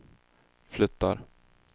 flyttar